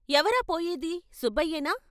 "ఎవరా పోయేది సుబ్బయ్యేనా?